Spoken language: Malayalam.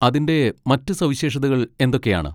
അതിന്റെ മറ്റ് സവിശേഷതകൾ എന്തൊക്കെയാണ്?